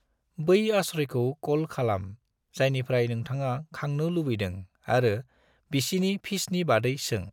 बै आश्रयखौ क'ल खालाम जायनिफ्राय नोंथाङा खांनो लुबैदों आरो बिसिनि फीसनि बादै सों।